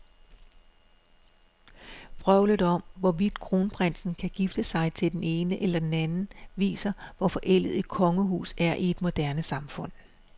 Vrøvlet om, hvorvidt kronprinsen kan gifte sig med den ene eller den anden, viser, hvor forældet et kongehus er i et moderne samfund.